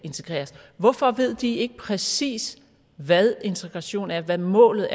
integreres hvorfor ved de ikke præcis hvad integration er hvad målet